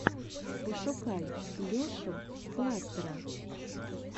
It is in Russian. пошукай лешу кластера